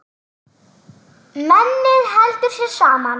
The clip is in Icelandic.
Mennið heldur sér saman.